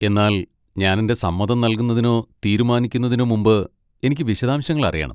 എന്നാൽ ഞാൻ എന്റെ സമ്മതം നൽകുന്നതിനോ തീരുമാനിക്കുന്നതിനോ മുമ്പ്, എനിക്ക് വിശദാംശങ്ങൾ അറിയണം.